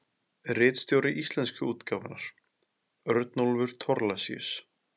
Ritstjóri íslensku útgáfunnar: Örnólfur Thorlacius.